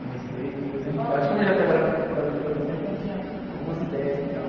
Comecei com doze anos de idade, como eu já trabalhava como cobrador de lotação, então eu tinha algumas ideias e tal.